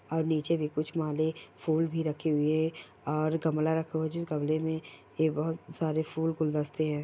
और नीचे भी कुछ माले फूल भी रखे हुए और गमला रखा हुआ है जिस गमले में ए बहोत सारे फूल गुलदस्ते हैं।